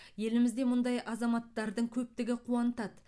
елімізде мұндай азаматтардың көптігі қуантады